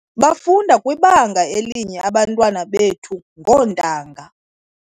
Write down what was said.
Bafunda kwibanga elinye abantwana bethu kuba ngoontanga .